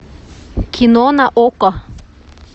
кино на окко